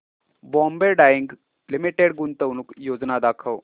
Bombay dyeing limited गुंतवणूक योजना दाखव